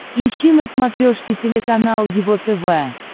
ищи на смотрешке телеканал его тв